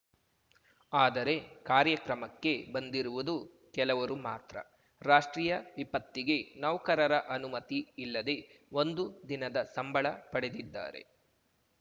ಆದರೆ ಕಾರ್ಯಕ್ರಮಕ್ಕೆ ಬಂದಿರುವುದು ಕೆಲವರು ಮಾತ್ರ ರಾಷ್ಟ್ರೀಯ ವಿಪತ್ತಿಗೆ ನೌಕರರ ಅನುಮತಿ ಇಲ್ಲದೆ ಒಂದು ದಿನದ ಸಂಬಳ ಪಡೆದಿದ್ದಾರೆ